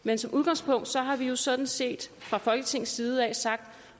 men som udgangspunkt har vi vi sådan set fra folketingets side sagt